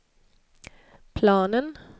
planen